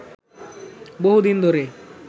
বহুদিন ধরে